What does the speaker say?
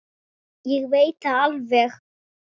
Ég veit það alveg.